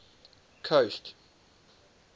coast